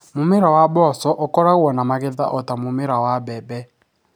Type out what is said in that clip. Mũmera wa mboco ũkoragwo na magetha o ta ma mũmera wa mbembe.